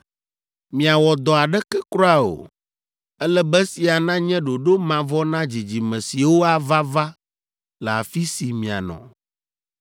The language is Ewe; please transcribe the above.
Miawɔ dɔ aɖeke kura o. Ele be esia nanye ɖoɖo mavɔ na dzidzime siwo ava va le afi si mianɔ.